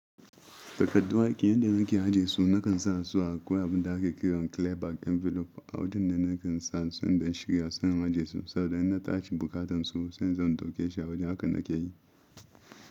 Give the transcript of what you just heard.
Takardun aiki yadda nake ajiye su nakan sa su a koya abun da ake kiran klebak envelof a wajen da nakan sa su inda shiga sun ajiye su saboda in na tashi bukatan su sai zan dauke shi a wajen haka nake yi.